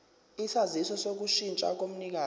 isaziso sokushintsha komnikazi